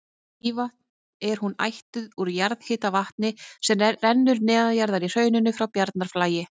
Mývatn er hún ættuð úr jarðhitavatni sem rennur neðanjarðar í hrauninu frá Bjarnarflagi.